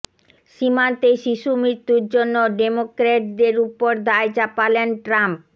সীমান্তে শিশু মৃত্যুর জন্য ডেমোক্র্যাটদের ওপর দায় চাপালেন ট্রাম্প